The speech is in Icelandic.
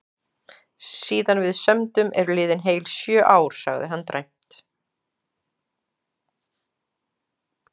Síðan við sömdum eru liðin heil sjö ár, sagði hann dræmt.